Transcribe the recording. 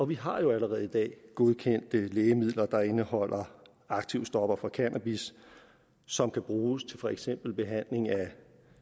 vi har jo allerede i dag godkendte lægemidler der indeholder aktivstoffer fra cannabis som kan bruges til for eksempel behandling af